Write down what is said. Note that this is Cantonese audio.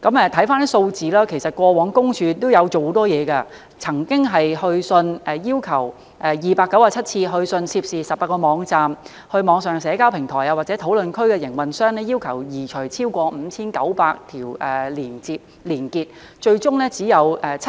看回數字，其實過往私隱公署亦做了很多工作，曾經有297次去信涉事的18個網站、網上社交平台或討論區的營運商，要求移除超過 5,900 條連結，最終只有 70%， 即